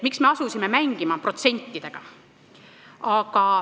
Miks me asusime mängima protsentidega?